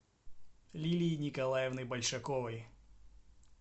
лилии николаевны большаковой